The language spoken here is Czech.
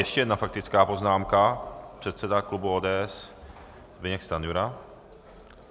Ještě jedna faktická poznámka - předseda klubu ODS Zbyněk Stanjura.